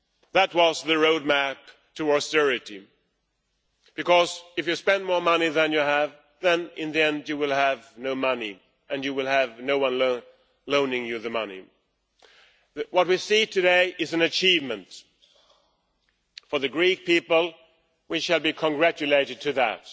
That was the road map to austerity because if you spend more money than you have, in the end, you will have no money and you will have no one loaning you the money. What we see today is an achievement for the Greek people, who should be congratulated on that,